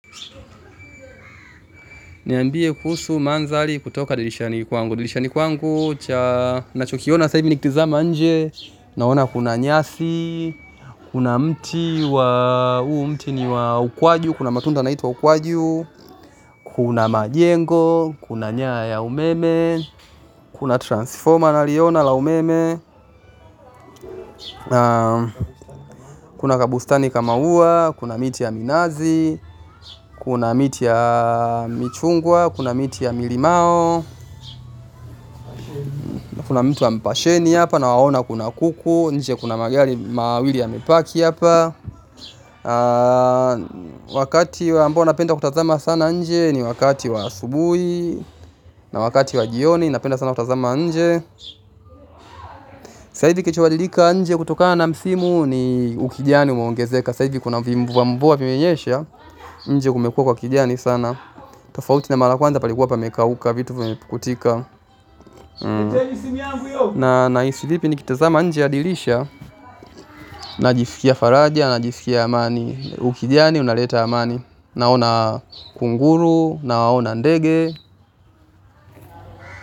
Niambie kuhusu mandhari kutoka dirishani kwangu. Dirishani kwangu, ninachokiona nikitazama nje. Naona kuna nyasi, kuna mti wa ukwaju, kuna matunda ya ukwaju. Kuna majengo, kuna nyaya za umeme, kuna transfoma nakiona la umeme. Kuna kabustani kama ua, kuna miti ya minazi, kuna miti ya michungwa, kuna miti ya malimau. Na kuna mti wa mpasheni hapa na naona kuna kuku nje, kuna magari mawili yamepark hapa. Wakati ambao napenda kutazama sana nje, ni wakati wa asubuhi. Na wakati wa jioni napenda sana kutazama nje. Sasa hivi kitu kinabadilika nje kutokana na msimu, ni ukijani umeongezeka. Sasa hivi kuna vimvua vya mvua vimenyesha. Nje kumekua kwa kijani sana tofauti na mara ya kwanza, palikuwa pamekauka, vitu vimekatika. Na ninahisi vipi nikitazama nje ya dirisha? Najisikia faraja, najisikia amani. Ukijani unaleta amani. Naona kunguru, naona ndege.